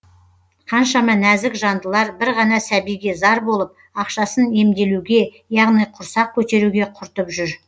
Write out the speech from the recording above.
қаншама нәзік жандылар бір ғана сәбиге зар болып ақшасын емделуге яғни құрсақ көтеруге құртып жүр